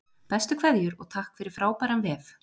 Bestu kveðjur og takk fyrir frábæran vef!